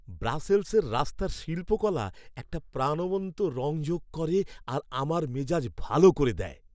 ব্রাসেলসের রাস্তার শিল্পকলা একটা প্রাণবন্ত রঙ যোগ করে আর আমার মেজাজ ভাল করে দেয়।